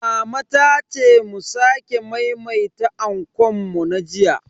Mama ta ce mu sake maimaita ankon mu na jiya.